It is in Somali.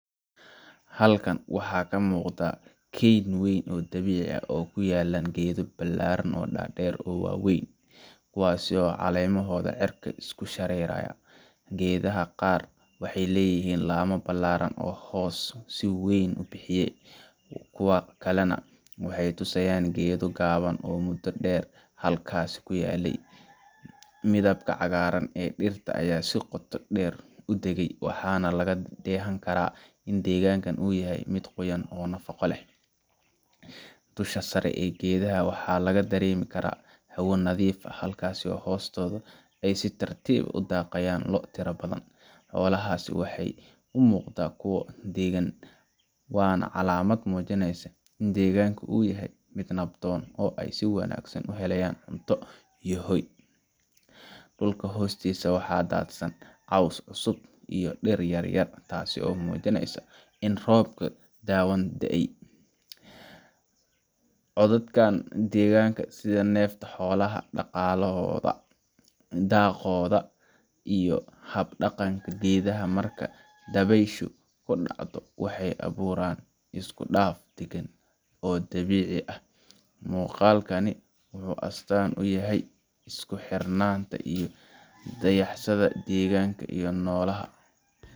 Halkan waxaa ka muuqda keyn weyn oo dabiici ah, oo ay ku yaallaan geedo dhaadheer oo waaweyn, kuwaas oo caleemahooda cirka isku sii shareeraya. Geedaha qaar waxay leeyihiin laamo ballaaran oo hooska si weyn u bixiya, kuwa kalena waxay tusayaan geedo gaboobay oo muddo dheer halkaas ku yaallay. Midabka cagaaran ee dhirta ayaa si qoto dheer u degay, waxaana laga dheehan karaa in deegaanka uu yahay mid qoyan oo nafaqo leh. Dusha sare ee geedaha waxaa laga dareemi karaa hawo nadiif ah, halka hoostooda ay si tartiib ah u daaqayaan lo’ tiro badan. Xoolahaasi waxay u muuqdaan kuwo deggan, waana calaamad muujinaysa in deegaanka uu yahay mid nabdoon oo ay si wanaagsan uga helayaan cunto iyo hoy. Dhulka hoostiisa waxaa daadsan caws cusub iyo dhir yaryar, taasoo muujinaysa in roob dhawaan da’ay. Codadka deegaanka sida neefta xoolaha, dhaqaaqooda, iyo hab dhaqanka geedaha marka dabayshu ku dhacdo, waxay abuuraan isku dhaf deggan oo dabiici ah. Muuqaalkani wuxuu astaan u yahay isku xirnaanta u dhaxaysa deegaanka iyo noolaha.